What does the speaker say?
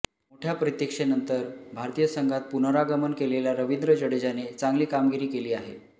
मोठ्या प्रतीक्षेनंतर भारतीय संघात पुनरागमन केलेल्या रवींद्र जाडेजाने चांगली कामगिरी केली आहे